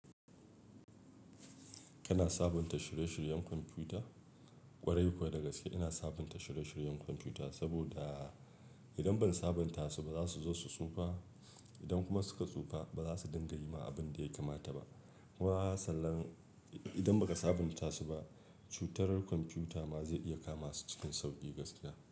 Kina sabunta shirye-shiryen kwamfuta? Kwarai kuwa da gaske ina sabunta shirye-shiryen kwamfuta, saboda idan ban sabunta su ba za su zo su tsufa. Idan kuma suka tsufa ba za su dinga yi ma abin da ya kamata ba. Wa sanan idan ba ka sabunta su ba, cutarerkon kwamfuta ma zai iya kama su cikin sauƙi gaskiya.